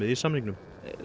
í samningnum